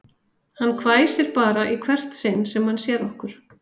Hann hvæsir bara í hvert sinn sem hann sér okkur